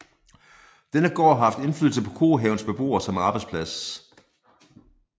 Denne gård har haft indflydelse på Kohavens beboer som arbejdsplads